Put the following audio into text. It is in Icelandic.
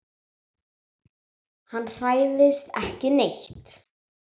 Hann hræðist ekki neitt.